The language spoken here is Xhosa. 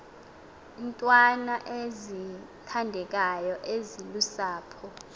iintwana ezithandekayo ezilusapho